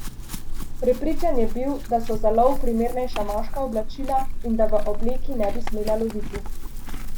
Prepričan je bil, da so za lov primernejša moška oblačila in da v obleki ne bi smela loviti.